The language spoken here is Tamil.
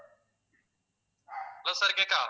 hello sir கேட்குதா